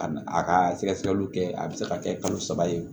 A a ka sɛgɛsɛgɛliw kɛ a bɛ se ka kɛ kalo saba ye